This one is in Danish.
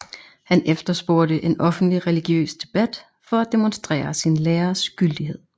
Han efterspurgte en offentlig religiøs debat for at demonstrere sin læres gyldighed